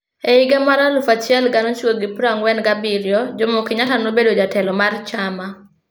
E higa mar 1947, Jomo Kenyatta nobedo jatelo mar chama.